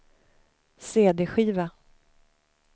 cd-skiva